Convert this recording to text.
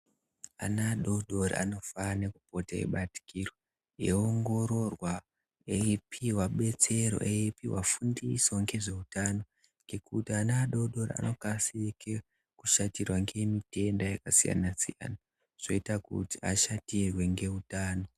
Ana adodori anofane kupote eibatikirwa eiongororwa eipuwa betsero eipuwa fundiso ngezveutano ngekuti ana adodori anokasike kushatirwe ngemitenda yakasiyana siyana zvoita kuti ashatirwe ngeutano.